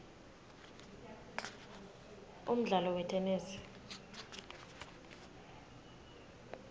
umdlalo wetenesi